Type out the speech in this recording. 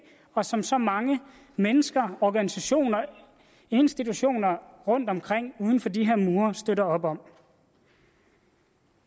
og som så mange mennesker organisationer og institutioner rundtomkring uden for de her mure støtter op om